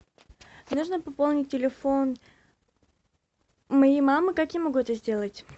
нужно пополнить телефон моей мамы как я могу это сделать